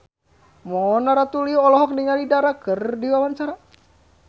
Mona Ratuliu olohok ningali Dara keur diwawancara